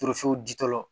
Turuso di tɔ